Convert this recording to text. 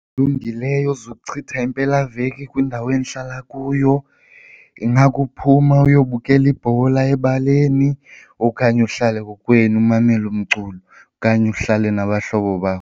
Olungileyo zokuchitha impelaveki kwindawo endihlala kuyo ingakuphuma uyobukela ibhola ebaleni okanye uhlale kokwenu umamele umculo okanye uhlale nabahlobo bakho.